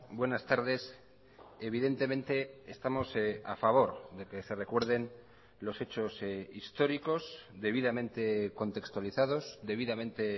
buenas tardes evidentemente estamos a favor de que se recuerden los hechos históricos debidamente contextualizados debidamente